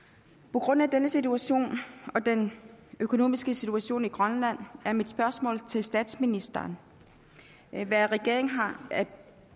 på grund af denne situation og den økonomiske situation i grønland er mit spørgsmål til statsministeren hvad regeringen har